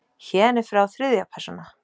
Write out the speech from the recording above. Héðan í frá þriðja persóna.